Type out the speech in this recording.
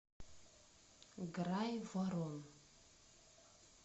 грайворон